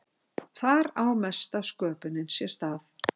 þar á mesta sköpunin sér stað